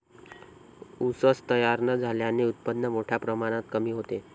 ऊसच तयार न झाल्याने उत्पन्न मोठ्या प्रमाणात कमी होते.